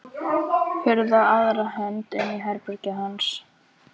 Hurð á aðra hönd inn í herbergið hans.